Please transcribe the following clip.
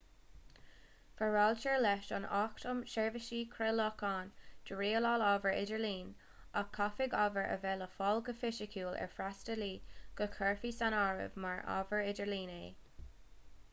foráiltear leis an acht um sheirbhísí craolacháin do rialáil ábhar idirlín ach caithfidh ábhar a bheith le fáil go fisiciúil ar fhreastalaí le go gcuirfí san áireamh mar ábhar idirlín é